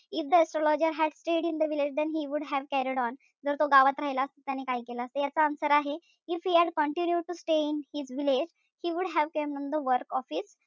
If the astrologer had stayed in the village then he would have carried on जर तो गावात राहिला असता त्याने काय केलं असत? त्याच answer आहे, if he had continued to stay in his village he would have carried on the work of his,